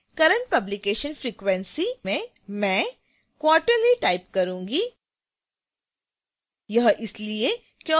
subfield a current publication frequency में मैं quarterly type करूंगी